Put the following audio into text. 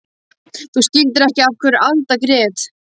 Þú skildir ekki af hverju Alda grét.